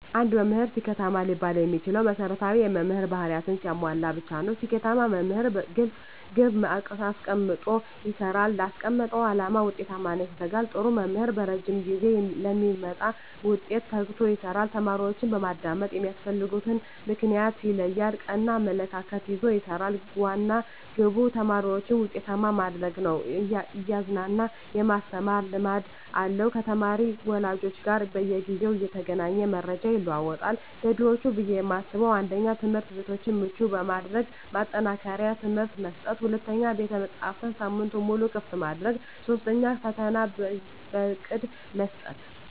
አንድ መምህር ስኬታማ ሊባል የሚችለው መሰረታዊ የመምህር ባህርያትን ሲያሟላ ብቻ ነው። ስኬታማ መምህር ግልፅ ግብ አስቀምጦ ይሰራል: ላስቀመጠው አላማ ውጤታማነት ይተጋል, ጥሩ መምህር በረዥም ጊዜ ለሚመጣ ውጤት ተግቶ ይሰራል። ተማሪዎችን በማዳመጥ የሚያስፈልግበትን ምክንያት ይለያል ,ቀና አመለካከት ይዞ ይሰራል, ዋና ግቡ ተማሪዎችን ውጤታማ ማድረግ ነው እያዝናና የማስተማር ልምድ አለው ከተማሪ ወላጆች ጋር በየጊዜው እየተገናኘ መረጃ ይለዋወጣል። ዘዴዎች ብዬ የማስበው 1ኛ, ትምህርትቤቶችን ምቹ በማድረግ ማጠናከሪያ ትምህርት መስጠት 2ኛ, ቤተመፅሀፍትን ሳምንቱን ሙሉ ክፍት ማድረግ 3ኛ, ፈተና በእቅድ መስጠት።